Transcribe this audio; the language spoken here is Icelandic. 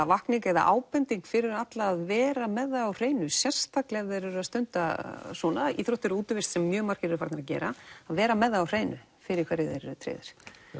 vakning eða ábending fyrir alla að vera með það á hreinu sérstaklega ef þeir eru að stunda svona íþróttir og útivist sem mjög margir eru farnir að gera að vera með það á hreinu fyrir hverju þeir eru tryggðir